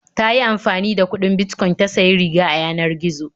Ta yi amfani da kuɗin Bitcoin ta sayi riga a yanar gizo.